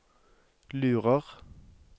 lurer